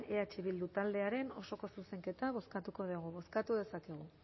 eh bildu taldearen osoko zuzenketa bozkatuko dugu bozkatu dezakegu